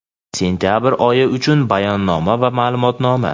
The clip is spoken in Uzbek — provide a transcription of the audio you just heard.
Sentabr oyi uchun bayonnoma va ma’lumotnoma.